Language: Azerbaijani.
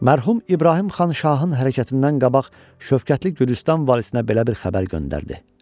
Mərhum İbrahim xan şahın hərəkətindən qabaq şəfqətli Gülüstan valisinə belə bir xəbər göndərdi.